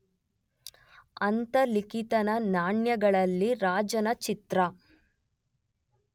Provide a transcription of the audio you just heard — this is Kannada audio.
ಅಂತಲಿಕಿತನ ನಾಣ್ಯಗಳಲ್ಲಿ ರಾಜನ ಚಿತ್ರ